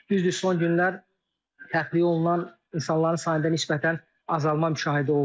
Düzdür, son günlər təxliyə olunan insanların sayında nisbətən azalma müşahidə olunur.